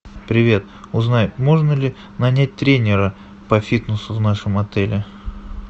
привет узнай можно ли нанять тренера по фитнесу в нашем отеле